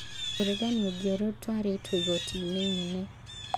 ũregani ũngĩ ũrĩa ũtwarĩtwo igoti-inĩ inene.